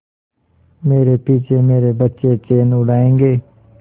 मेरे पीछे मेरे बच्चे चैन उड़ायेंगे